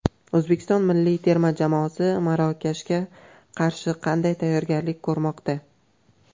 O‘zbekiston milliy terma jamoasi Marokashga qarshi qanday tayyorgarlik ko‘rmoqda?